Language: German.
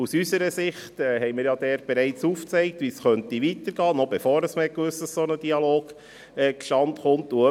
Aus unserer Sicht haben wir bereits aufgezeigt, wie es weitergehen könnte, schon bevor man gewusst hat, dass ein solcher Dialog zustande kommt.